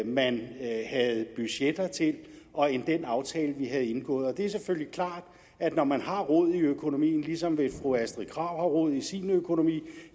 man havde budgetter til og end den aftale vi havde indgået det er selvfølgelig klart at når man har rod i økonomien ligesom hvis fru astrid krag har rod i sin økonomi